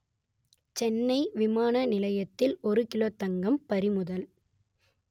சென்னை விமான நிலையத்தில் ஒரு கிலோ தங்கம் பறிமுதல்